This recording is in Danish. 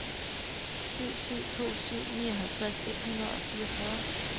syv syv to syv nioghalvtreds et hundrede og fireogfyrre